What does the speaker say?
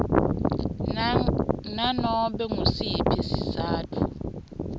nganobe ngusiphi sizatfu